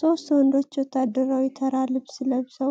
ሶስት ወንዶች ወታደራዊና ተራ ልብስ ለብሰው